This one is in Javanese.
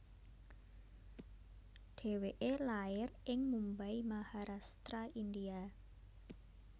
Dheweké lair ing Mumbai Maharashtra India